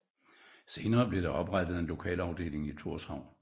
Senere blev der oprettet en lokalafdeling i Tórshavn